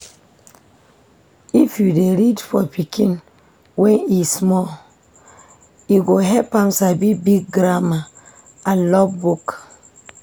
If u dey read for pikin when e small, e go help am sabi big grammar and love book.